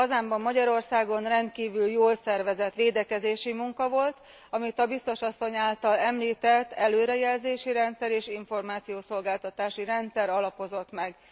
Hazámban, Magyarországon rendkívül jól szervezett védekezési munka volt, amit a biztos asszony által említett előrejelzési rendszer és információszolgáltatási rendszer alapozott meg.